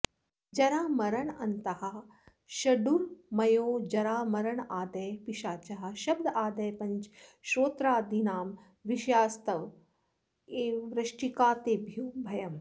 जरामरणान्ताः षडूर्मयो जरामरणादयः पिशाचाः शब्दादयः पञ्च श्रोत्रादीनां विषयास्त एव वृश्चिकास्तेभ्यो भयम्